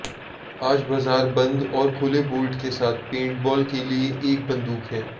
आज बाजार बंद और खुले बोल्ट के साथ पेंटबॉल के लिए एक बंदूक है